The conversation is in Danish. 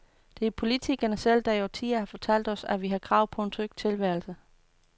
Det er politikerne selv, der i årtier har fortalt os, at vi har krav på en tryg tilværelse.